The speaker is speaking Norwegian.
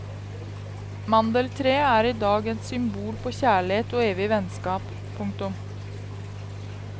Mandeltreet er i dag et symbol på kjærlighet og evig vennskap. punktum